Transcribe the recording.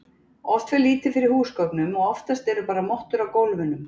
oft fer lítið fyrir húsgögnum og oftast eru bara mottur á gólfunum